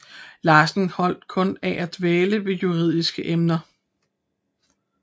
Larsen holdt kun af at dvæle ved juridiske emner